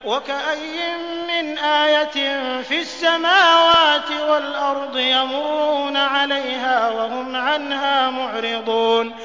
وَكَأَيِّن مِّنْ آيَةٍ فِي السَّمَاوَاتِ وَالْأَرْضِ يَمُرُّونَ عَلَيْهَا وَهُمْ عَنْهَا مُعْرِضُونَ